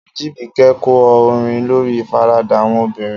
Ajibike kọ orin lórí ìfaradà àwọn obìnrin.